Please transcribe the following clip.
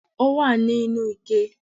Ó wà ní inú ike